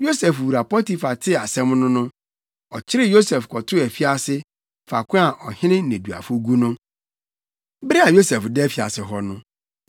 Yosef wura Potifar tee asɛm no no, ɔkyeree Yosef kɔtoo afiase, faako a ɔhene nneduafo gu no. Bere a Yosef da afiase hɔ no,